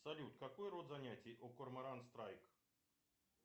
салют какой род занятий у корморан страйк